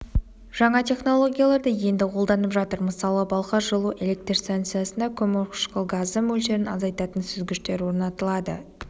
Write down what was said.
жаңа технологияларды енді қолданып жатыр мысалы балхаш жылу-электр станциясында көмірқышқыл газы мөлшерін азайтатын сүзгіштер орнатылады